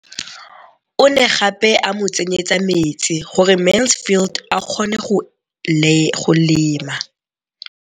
O ne gape a mo tsenyetsa metsi gore Mansfield a kgone go lema.